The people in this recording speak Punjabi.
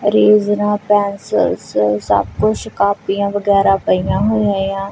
ਰੇਜ਼ਰਾਂ ਪੈਂਸਿਲਸ ਸਭ ਕੁਛ ਕਾਪੀਆਂ ਵਗੈਰਾ ਪਈਆਂ ਹੋਇਆਂ ਏ ਆ।